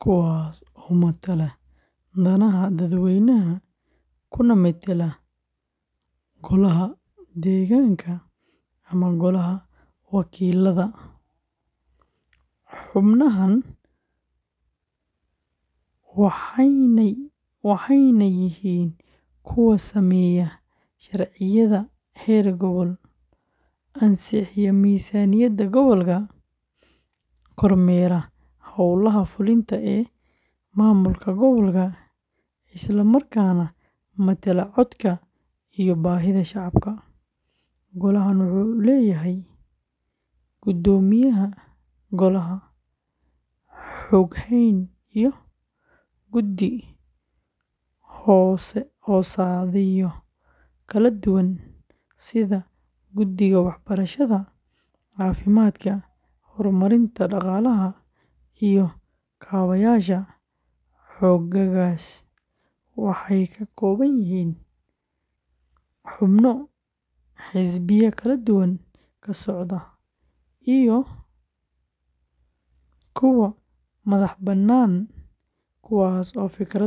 kuwaas oo matala danaha dadweynaha kuna metela golaha deegaanka ama golaha wakiilada ee county-ga. Xubnahan waxaa loo yaqaanaa, waxayna yihiin kuwa sameeya sharciyada heer gobol, ansixiya miisaaniyadda gobolka, kormeera hawlaha fulinta ee maamulka gobolka, isla markaana matala codka iyo baahida shacabka. Golahan wuxuu leeyahay guddoomiyaha golaha, xoghayn, iyo guddi-hoosaadyo kala duwan sida guddiga waxbarashada, caafimaadka, horumarinta dhaqaalaha, iyo kaabayaasha. Xoogaggaas waxay ka kooban yihiin xubno xisbiya kala duwan ka socda, iyo kuwa madaxbannaan, kuwaas oo fikrado kala duwan leh.